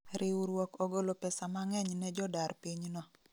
Riuruok ogolo pesa mang'eny ne jodar piny no